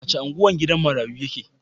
A wace unguwa gidan marayu yake?